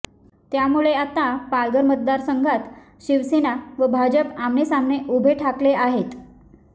त्यामुळे आता पालघर मतदारसंघात शिवसेना व भाजप आमनेसामने उभे ठाकले आहेत